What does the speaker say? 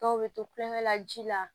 Dɔw bɛ to kulonkɛ la ji la